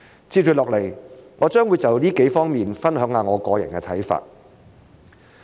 接下來我將會就這幾方面分享一下我個人的看法。